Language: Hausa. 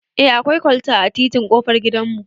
Eh akwai kwalta a titin ƙofar gidan mu